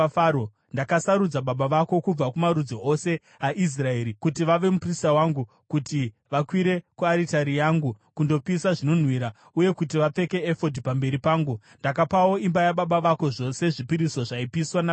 Ndakasarudza baba vako kubva kumarudzi ose aIsraeri kuti vave muprista wangu, kuti vakwire kuaritari yangu, kundopisa zvinonhuhwira, uye kuti vapfeke efodhi pamberi pangu. Ndakapawo imba yababa vako zvose zvipiriso zvaipiswa navaIsraeri.